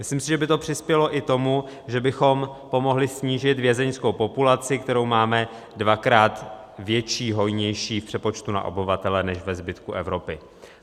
Myslím si, že by to přispělo i tomu, že bychom pomohli snížit vězeňskou populaci, kterou máme dvakrát větší, hojnější v přepočtu na obyvatele než ve zbytku Evropy.